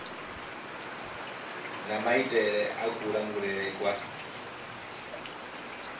na maitele a kulangulele kwa